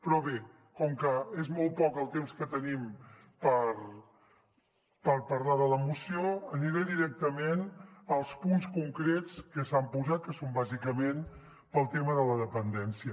però bé com que és molt poc el temps que tenim per parlar de la moció aniré directament als punts concrets que s’han posat que són bàsicament pel tema de la dependència